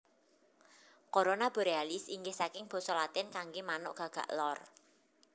Corona Borealis inggih saking basa Latin kanggé manuk gagak lor